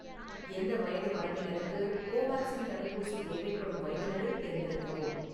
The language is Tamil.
எந்த வயது வரம்பினருக்கு கோவேக்சின் தடுப்பூசி தேவைப்படும் வயதினரைத் தேர்ந்தெடுக்கவும்